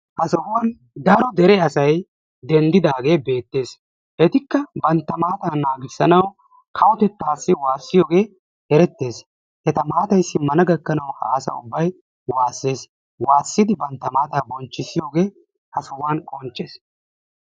Ha sohuwan daro dere asay denddidaagee beettees. Etikka bantta maataa naagissanawu kawotettaassi waassiyogee erettees. Eta maatay simmana gakkanawu ha asa ubbay waassees. Waassidi bantta maataa bonchchissiyogee ha sohuwan qonccees.